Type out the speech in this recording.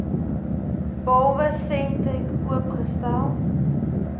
behalwe sentech oopgestel